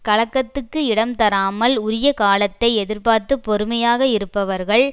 கலக்கத்துக்கு இடம் தராமல் உரிய காலத்தை எதிர்பார்த்து பொறுமையாக இருப்பவர்கள்